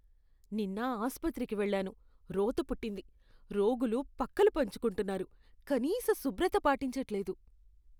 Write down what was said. నిన్న ఆస్పత్రికి వెళ్లాను, రోత పుట్టింది. రోగులు పక్కలు పంచుకుంటున్నారు, కనీస శుభ్రత పాటించట్లేదు.